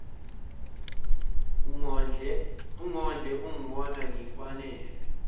ungondle ungibona ngifanelwe